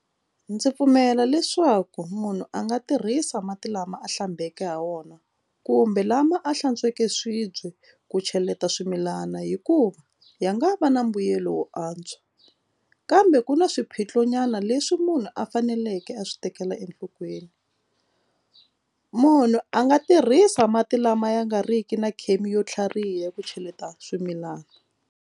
Ndzi pfumela leswaku munhu a nga tirhisa mati lama a hlambeke hi wona kumbe lama a hlantsweke swibye ku cheleta swimilana hikuva ya nga va na mbuyelo wo antswa kambe ku na swiphiqo nyana leswi munhu a faneleke a swi tekela enhlokweni munhu a nga tirhisa mati lama ya nga riki na chem yo tlhariha ku cheleta swimilana.